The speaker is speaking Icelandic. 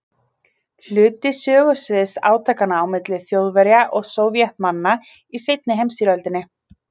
Hluti sögusviðs átakanna á milli Þjóðverja og Sovétmanna í seinni heimsstyrjöldinni.